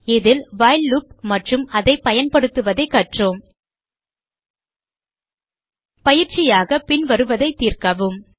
இதில் while loop மற்றும் அதை பயன்படுத்துவதை கற்றோம் பயிற்சியாக பின்வருவதை தீர்க்கவும்